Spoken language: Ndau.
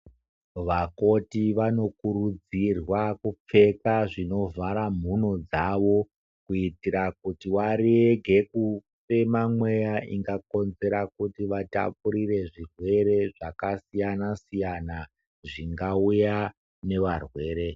Vakoti vanokurudzirwa kupfeka zvinovhara mhuno dzavo kuitira kuti warege kufema mweya ingakonzera kuti vatapurire zvirwere zvakasiyana-siyana zvingauya nevarwere.